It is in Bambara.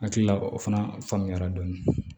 Hakilila o fana faamuyara dɔɔni